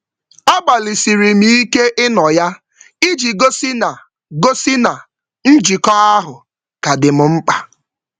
A gbalịsiri m ike ịnọ ya, iji gosi na gosi na njikọ ahụ ka dị m mkpa.